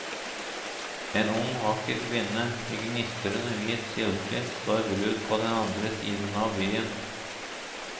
En ung vakker kvinne i gnistrende hvit silke står brud på den andre siden av byen.